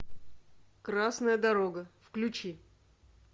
красная дорога включи